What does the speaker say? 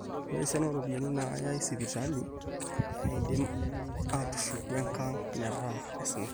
ore esiana ooropiyiani naayai sipitali neidim atushuko enkang metaa aisinak